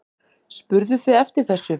Spurðuð þið eftir þessu?